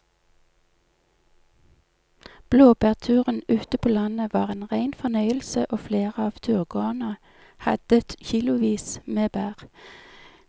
Blåbærturen ute på landet var en rein fornøyelse og flere av turgåerene hadde kilosvis med bær.